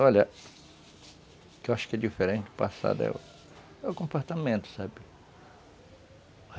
Olha, o que eu acho que é diferente do passado é o comportamento, sabe?